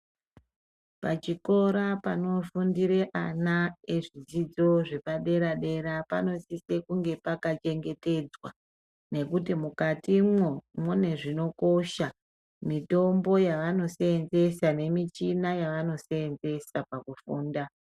Pachikora panofundire ana ezvidzidzo zvepa dera dera panosise kunge pakachengetedzwa nekuti mukatimwo mune zvinokosha , mitombo yaanoseenzesa nemuchina yavanoseenzesa pakufunda.